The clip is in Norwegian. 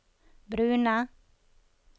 brune